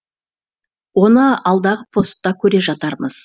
оны алдағы постта көре жатармыз